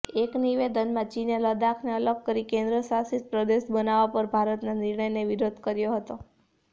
એક નિવેદનમાં ચીને લદ્દાખને અલગ કરીને કેન્દ્રશાસિત પ્રદેશ બનાવવા પર ભારતનાં નિર્ણયનો વિરોધ કર્યો હતો